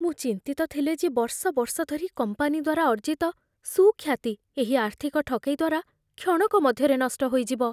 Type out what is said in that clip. ମୁଁ ଚିନ୍ତିତ ଥିଲେ ଯେ ବର୍ଷ ବର୍ଷ ଧରି କମ୍ପାନୀ ଦ୍ୱାରା ଅର୍ଜିତ ସୁଖ୍ୟାତି ଏହି ଆର୍ଥିକ ଠକେଇ ଦ୍ୱାରା କ୍ଷଣକ ମଧ୍ୟରେ ନଷ୍ଟ ହୋଇଯିବ।